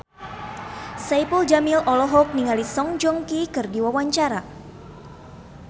Saipul Jamil olohok ningali Song Joong Ki keur diwawancara